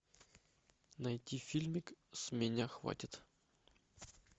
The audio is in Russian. найти фильмик с меня хватит